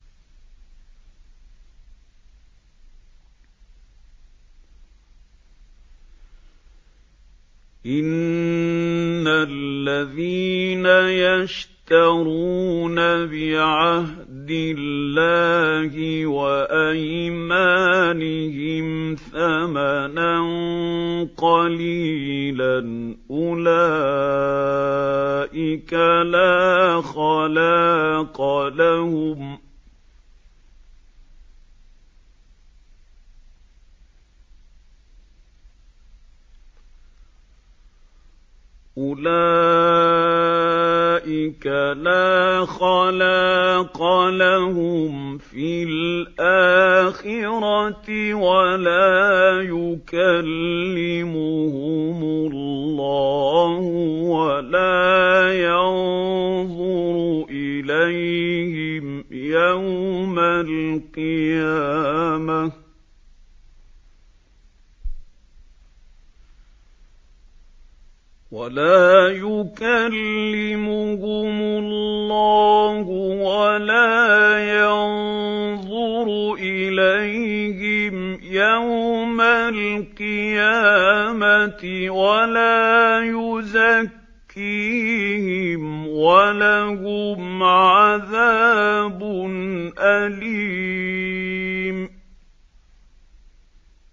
إِنَّ الَّذِينَ يَشْتَرُونَ بِعَهْدِ اللَّهِ وَأَيْمَانِهِمْ ثَمَنًا قَلِيلًا أُولَٰئِكَ لَا خَلَاقَ لَهُمْ فِي الْآخِرَةِ وَلَا يُكَلِّمُهُمُ اللَّهُ وَلَا يَنظُرُ إِلَيْهِمْ يَوْمَ الْقِيَامَةِ وَلَا يُزَكِّيهِمْ وَلَهُمْ عَذَابٌ أَلِيمٌ